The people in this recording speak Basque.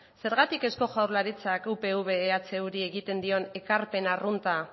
zergatik eusko jaurlaritzak upv ehuri egiten dion ekarpen arrunta